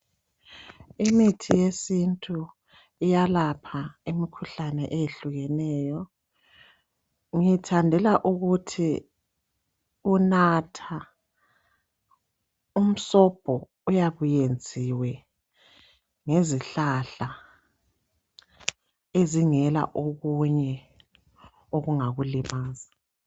Imithi yesintu iyalapha imikhuhlane eyehlukeneyo ngiyithandela ukuthi unatha umsobho oyabe uyenziwe ngezihlahla ezingela okunye okungakulimaza